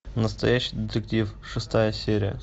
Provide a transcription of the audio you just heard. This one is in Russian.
настоящий детектив шестая серия